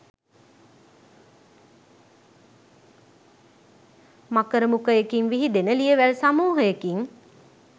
මකර මුඛයකින් විහිදෙන ලියවැල් සමූහයකින්